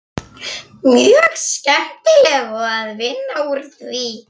Mjög skemmtilegt að vinna úr því.